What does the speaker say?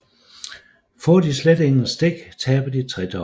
Får de slet ingen stik taber de tredobbelt